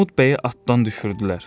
Armud bəyi atdan düşürdülər.